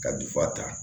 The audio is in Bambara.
Ka ta